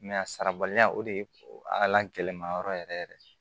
a sarabaliya o de ye a lagɛlɛma yɔrɔ yɛrɛ yɛrɛ ye